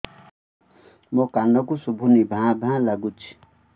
ମୋ କାନକୁ ଶୁଭୁନି ଭା ଭା ଲାଗୁଚି